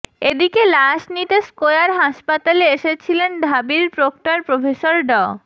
এদিকে লাশ নিতে স্কয়ার হাসপাতালে এসেছিলেন ঢাবির প্রক্টর প্রফেসর ড